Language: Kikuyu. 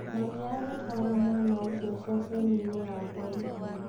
Mami agĩtwara mwana ũcio ceceni-inĩ ya borithi.